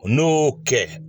N'o kɛ